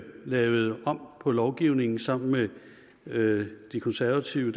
lavede om på lovgivningen sammen med de konservative